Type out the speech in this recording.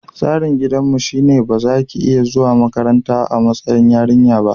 Tsarin gidanmu shine ba za ki iya zuwa makaranta a matsayin yarinya ba.